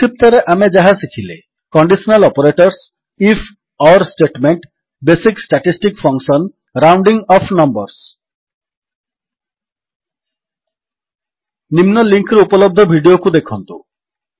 ସଂକ୍ଷିପ୍ତରେ ଆମେ ଯାହା ଶିଖିଲେ conditional operators if or statement basic statistic functions rounding off numbers ନିମ୍ନ ଲିଙ୍କ୍ ରେ ଉପଲବ୍ଧ ଭିଡିଓକୁ ଦେଖନ୍ତୁ